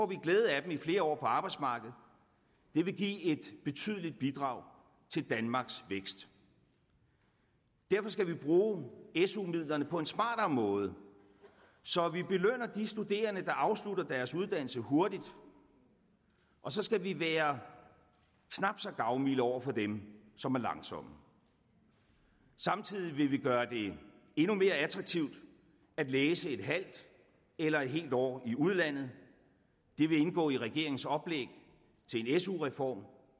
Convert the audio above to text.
vi glæde af dem i flere år på arbejdsmarkedet det ville give et betydeligt bidrag til danmarks vækst derfor skal vi bruge su midlerne på en smartere måde så vi belønner de studerende der afslutter deres uddannelse hurtigt og så skal vi være knap så gavmilde over for dem som er langsomme samtidig vil vi gøre det endnu mere attraktivt at læse et halvt eller helt år i udlandet det vil indgå i regeringens oplæg til en su reform